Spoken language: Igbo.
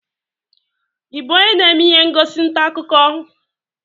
Ị bụ onye na-eme ihe ngosi ntaakụkọ?